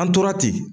An tora ten